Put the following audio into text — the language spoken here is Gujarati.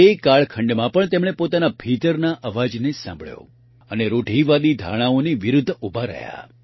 તે કાળખંડમાં પણ તેમણે પોતાના ભીતરના અવાજને જ સાંભળ્યો અને રૂઢિવાદી ધારણાઓની વિરૂદ્ધ ઊભા રહ્યાં